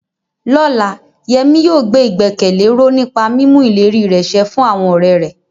Lọ́la, Yemi yóò gbé ìgbẹ́kẹ̀lé ró nípa mímú ìlérí rẹ̀ ṣẹ fún àwọn ọ̀rẹ́ rẹ̀.